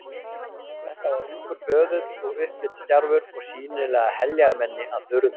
Þetta var ungur böðull og upplitsdjarfur og sýnilega heljarmenni að burðum.